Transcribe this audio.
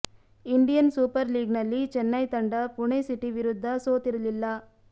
Indian Super ಲೀಗ್ನಲ್ಲಿ ಚೆನ್ನೈ ತಂಡ Pune city ವಿರುದ್ಧ ಸೋತಿರಲಿಲ್ಲ